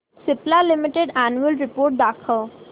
Cipla limited annual report दाखव